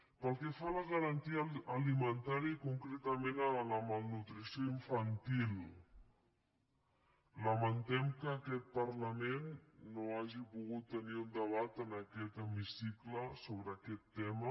pel que fa a la garantia alimentària i concretament a la malnutrició infantil lamentem que aquest parlament no hagi pogut tenir un debat en aquest hemicicle sobre aquest tema